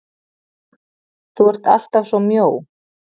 Þú ert allt af svo mjó!